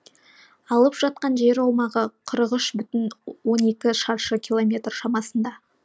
алып жатқан жер аумағы қырық үш бүтін оннан екі шаршы километр шамасында